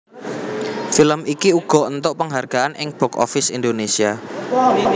Film iki uga éntuk penghargaan ing box office Indonesia